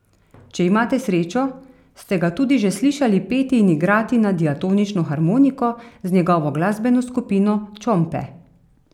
Če imate srečo, ste ga tudi že slišali peti in igrati na diatonično harmoniko z njegovo glasbeno skupino Čompe.